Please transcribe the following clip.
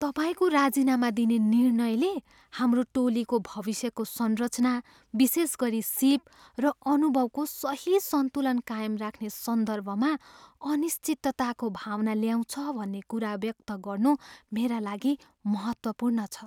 तपाईँको राजीनामा दिने निर्णयले हाम्रो टोलीको भविष्यको संरचना, विशेष गरी सीप र अनुभवको सही सन्तुलन कायम राख्ने सन्दर्भमा अनिश्चितताको भावना ल्याउँछ भन्ने कुरा व्यक्त गर्नु मेरा लागि महत्त्वपूर्ण छ।